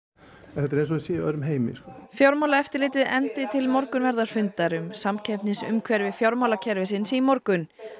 þetta er eins og þeir séu í öðrum heimi fjármálaeftirlitið efndi til morgunverðarfundar um samkeppnisumhverfi fjármálakerfisins í morgun